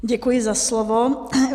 Děkuji za slovo.